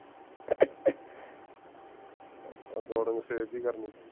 recording save ਵੀ ਕਰ ਲਈ